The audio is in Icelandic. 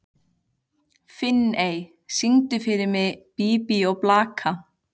Finney, syngdu fyrir mig „Bí bí og blaka“.